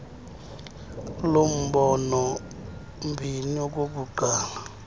lumbolo mbini okokuqala